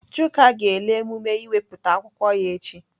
Chuka ga-ele emume ịwepụta akwụkwọ ya echi.